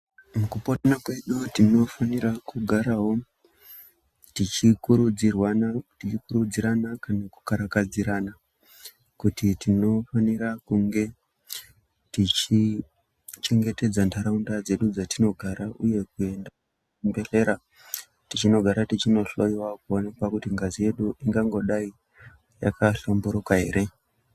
Mukupona kwedu tinofanirwa kugarawo tichikurudzirwana tichikurudzirana kana kukarakadzirana kuti tinofanira kunge tichichengetedza ntaraunda dzedu dzatinogara, uye kuenda kuzvibhedhlera tichinogara tichinoloiwa kuonekwa kuti ngazi yedu ingangodai yakahlamburuka here.